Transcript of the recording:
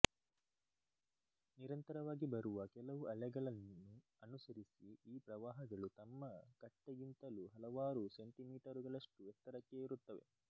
ನಿರಂತರವಾಗಿ ಬರುವ ಕೆಲವು ಅಲೆಗಳನ್ನು ಅನುಸರಿಸಿ ಈ ಪ್ರವಾಹಗಳು ತಮ್ಮ ಕಟ್ಟೆಗಿಂತಲೂ ಹಲವಾರು ಸೆಂಟಿಮೀಟರುಗಳಷ್ಟು ಎತ್ತರಕ್ಕೆ ಏರುತ್ತವೆ